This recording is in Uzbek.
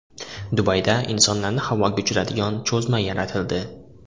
Dubayda insonlarni havoga uchiradigan cho‘zma yaratildi .